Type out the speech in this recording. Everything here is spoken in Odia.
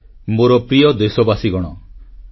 • ନବରାତ୍ର ପୂଜାରେ ଦେଶବାସୀଙ୍କୁ ଶୁଭେଚ୍ଛା